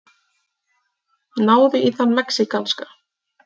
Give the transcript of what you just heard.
Náðu í þann mexíkanska!